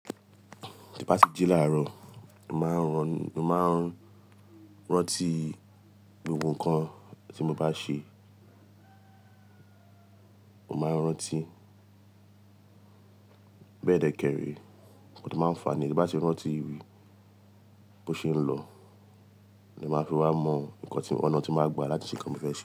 Tí bá ti jí láàárọ̀, mo mà á rọ, mo mà á rántí gbogbo nǹkan tí mo bá ṣe. Mo máa ń rántí bẹ́ẹ̀ dẹ́kẹ́rẹ́, nnkan to máa fàà níyen. Bí bá ti rántí bó ṣe ń lọ, ni màá fi wá mọ nǹkan ti ọ̀nà tí màá gba láti ṣe ǹkan ti mo fẹ́ ṣe.